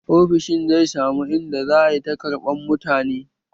Ofishin zai samu in da za a ta ƙarɓan mutane